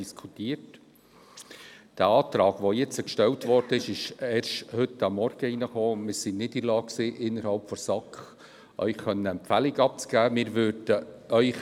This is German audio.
Der jetzt gestellte Antrag ging erst heute Morgen ein, und wir waren innerhalb der SAK nicht in der Lage, Ihnen eine Empfehlung abzugeben.